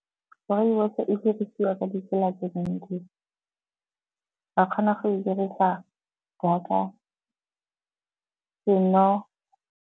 Rooibos-e dirisiwa ka ditsela tse dintsi, ba kgona go e dirisa jaaka seno.